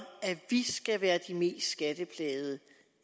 at vi skal være de mest skatteplagede